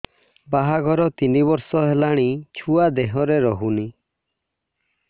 ବାହାଘର ତିନି ବର୍ଷ ହେଲାଣି ଛୁଆ ଦେହରେ ରହୁନି